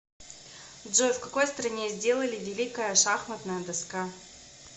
джой в какой стране сделали великая шахматная доска